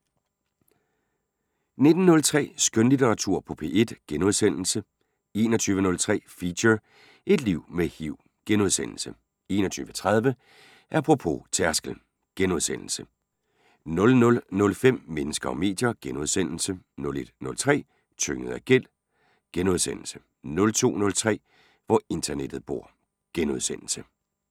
19:03: Skønlitteratur på P1 * 21:03: Feature: Et liv med HIV * 21:30: Apropos - tærskel * 00:05: Mennesker og medier * 01:03: Tynget af gæld * 02:03: Hvor internettet bor *